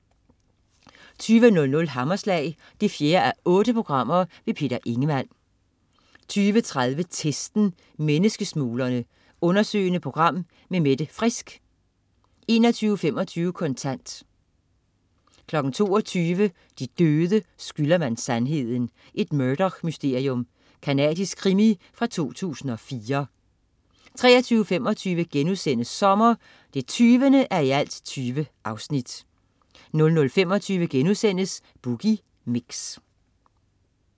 20.00 Hammerslag 4:8. Peter Ingemann 20.30 Testen. Menneskesmuglerne. Undersøgende program med Mette Frisk 21.25 Kontant 22.00 De døde skylder man sandheden. Et Murdoch-mysterium. Canadisk krimi fra 2004 23.25 Sommer 20:20* 00.25 Boogie Mix*